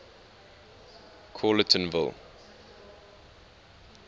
callertonville